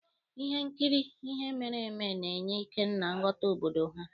Ihe nkiri ihe mere eme ga-enye Ikenna nghọta obodo ha.